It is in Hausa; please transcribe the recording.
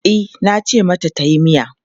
E, nace mata tayi miya.